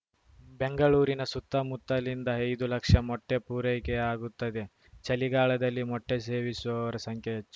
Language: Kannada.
ಬೆಂಗಳೂರಿನ ಸುತ್ತಮುತ್ತಲಿಂದ ಐದು ಲಕ್ಷ ಮೊಟ್ಟೆಪೂರೈಕೆಯಾಗುತ್ತದೆ ಚಳಿಗಾಲದಲ್ಲಿ ಮೊಟ್ಟೆಸೇವಿಸುವವರ ಸಂಖ್ಯೆ ಹೆಚ್ಚು